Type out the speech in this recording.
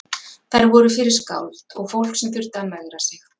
Þær voru fyrir skáld og fólk sem þurfti að megra sig.